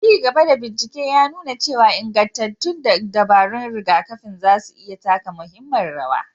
Ci gaba da bincike ya nuna cewa ingantattun dabarun rigakafin za su iya taka muhimmiyar rawa.